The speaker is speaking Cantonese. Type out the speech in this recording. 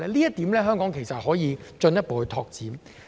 在這方面，香港其實可以進一步拓展。